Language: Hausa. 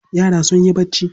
Yara sun yi barci.